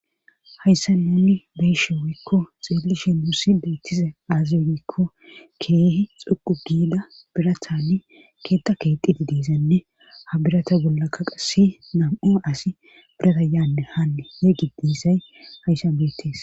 Hayssa nuni beeshe woykko xeellishi nuussi beettize aazioyikko keehi xuqu giida birathanni keetta keexidi diisanne ha birata bollakka qasi nam7a asi birata yaanne haanne yegi diissay hayssan beettees